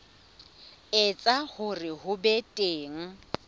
etsa hore ho be teng